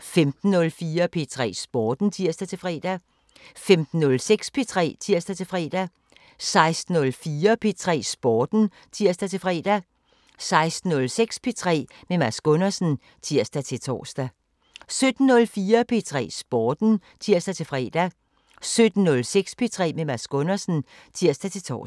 15:04: P3 Sporten (tir-fre) 15:06: P3 (tir-fre) 16:04: P3 Sporten (tir-fre) 16:06: P3 med Mads Gundersen (tir-tor) 17:04: P3 Sporten (tir-fre) 17:06: P3 med Mads Gundersen (tir-tor)